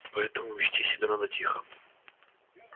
поэтому вести себя надо тихо